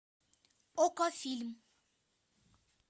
окко фильм